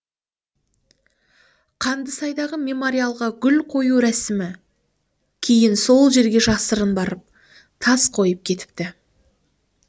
қандысайдағы мемориалға гүл қою рәсімі кейін сол жерге жасырын барып тас қойып кетіпті